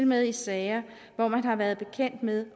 med i sager hvor man har været bekendt med